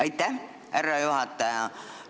Aitäh, härra juhataja!